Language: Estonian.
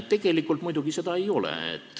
Tegelikult seda muidugi ei ole.